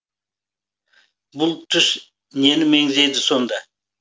бұл түс нені меңзейді сонда